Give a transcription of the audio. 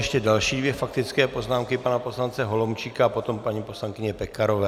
Ještě další dvě faktické poznámky - pana poslance Holomčíka a potom paní poslankyně Pekarové.